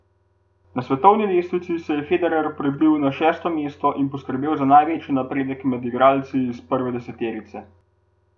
Na svetovni lestvici se je Federer prebil že na šesto mesto ter poskrbel za največji napredek med igralci iz prve deseterice.